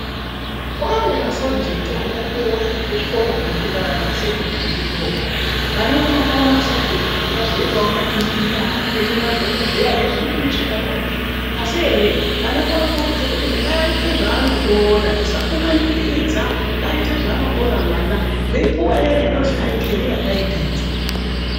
Kwanema sabhujekiti anopuwa kuchikora kunofunda vana kusekondariyo. Vana vanopuwa masabhukekiti kuti vazoitawo ma injiniya, vaite madhokodheya nezvimweni zvakadarozvo. Asi ere vana ngavakurudzirwe kuti ngaaite zvaanokona tisamumanikidza, ngaaite zvaanokona mwana. Veyipuwa iyana inozi keriya gayidhenzi.